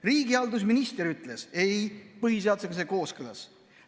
Riigihalduse minister ütles: ei, põhiseadusega on see kooskõlas.